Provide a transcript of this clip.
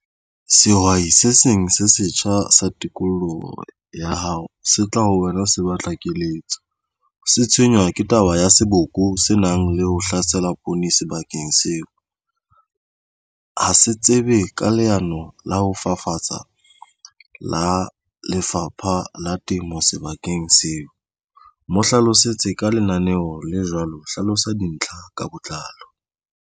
Sehwai se seng se setjha sa tikoloho ya hao se tla ho wena o se batla. Keletso se tshwenywa ke taba ya seboko se nang le ho hlaselang poone sebakeng seo ha se tsebe ka leano la ho fafatsa la Lefapha la Temo sebakeng seo mo hlalosetse ka lenaneo le jwalo. Hlalosa dintlha ka botlalo.